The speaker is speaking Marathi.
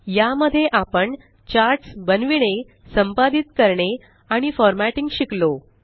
या मध्ये आपण चार्ट्स बनविणे संपादित करणे आणि फॉरमॅटिंग शिकलो